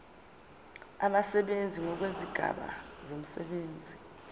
abasebenzi ngokwezigaba zomsebenzi